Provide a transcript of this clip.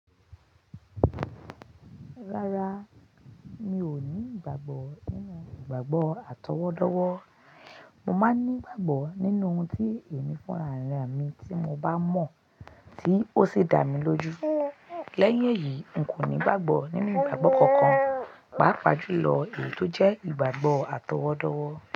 Rárá, mi ò ní ìgbàgbọ́ nínú ìgbàgbọ́ àtọwọ́dọ́wọ́. Mo máa ń ní ìgbàgbọ́ nínú ohun tí èmi fúnra ra mi tí mo bá mọ̀ tí ó sì dá mi lójú. Lẹ́yìn èyí, n kò ní ìgbàgbọ́ nínú ìgbàgbọ́ kankan, pàápàá jùlọ èyí tó jẹ́ ìgbàgbọ́ àtọwọ́dọ́wọ́